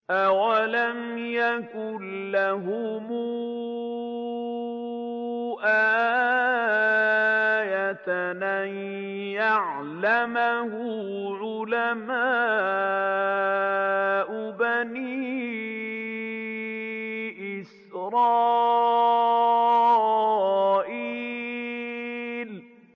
أَوَلَمْ يَكُن لَّهُمْ آيَةً أَن يَعْلَمَهُ عُلَمَاءُ بَنِي إِسْرَائِيلَ